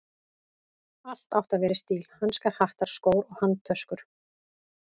Allt átti að vera í stíl: hanskar, hattar, skór og handtöskur.